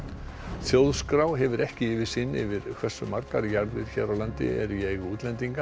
þjóðskrá hefur ekki yfirsýn yfir hversu margar jarðir hér á landi eru í eigu útlendinga